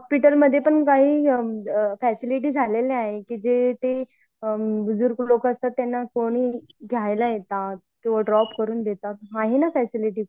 hospital मध्ये सुद्दा काह फैसिलिटी आलेल्या आहेत जिथे बुजुर्ग लोकांना त्यांना सोडून न्यायला येतात ड्रॉप करतात